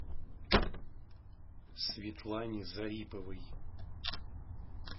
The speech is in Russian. светлане зариповой